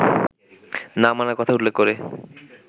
না মানার কথা উল্লেখ করে